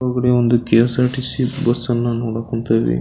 ಹೊರಗಡೆ ಒಂದು ಕೆ.ಎಸ್.ಆರ್.ಟಿ.ಸಿ ಬಸ್ಸನ್ನ ನೋಡೋಕ್ ಹೊಂತಿವಿ.